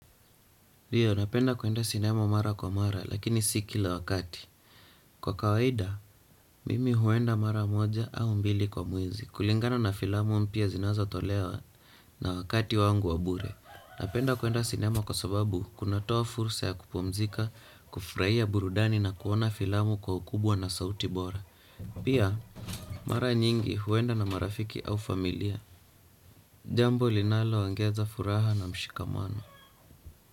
Ndio, napenda kuenda sinema mara kwa mara, lakini si kila wakati. Kwa kawaida, mimi huenda mara moja au mbili kwa mwezi. Kulingana na filamu mpya zinazotolewa na wakati wangu wa bure. Napenda kuenda sinema kwa sababu kunatoa fursa ya kupumzika, kufurahia burudani na kuona filamu kwa ukubwa na sauti bora. Pia, mara nyingi huenda na marafiki au familia. Jambo linaloongeza furaha na mshikamano.